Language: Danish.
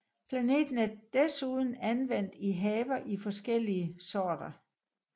Planten er desuden anvendt i haver i flere forskellige sorter